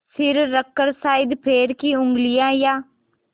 सिर रखकर शायद पैर की उँगलियाँ या